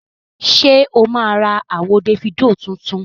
Ṣé o máa ra àwo Dèfídò tuntun?